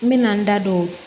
N mɛna n da don